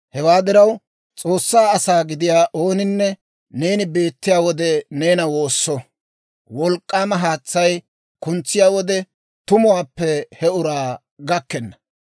Hewaa diraw, S'oossaa asaa gidiyaa ooninne, neeni beettiyaa wode, neena woosso. Wolk'k'aama haatsay kuntsiyaa wode, tumuwaappe he uraa gakkenna.